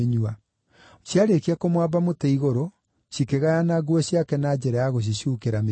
Ciarĩkia kũmwamba mũtĩ-igũrũ, cikĩgayana nguo ciake na njĩra ya gũcicuukĩra mĩtĩ.